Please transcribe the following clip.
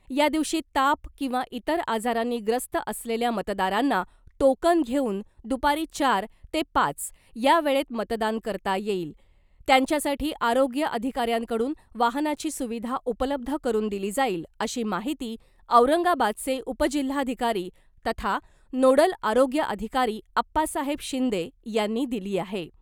या दिवशी ताप किंवा इतर आजारांनी ग्रस्त असलेल्या मतदारांना टोकन घेऊन , दुपारी चार ते पाच या वेळेत मतदान करता येईल , त्यांच्यासाठी आरोग्य अधिकाऱ्यांकडून वाहनाची सुविधा उपलब्ध करून दिली जाईल , अशी माहिती औरंगाबादचे उपजिल्हाधिकारी तथा नोडल आरोग्य अधिकारी आप्पासाहेब शिंदे यांनी दिली आहे .